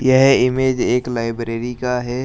यह इमेज एक लाइब्रेरी का है।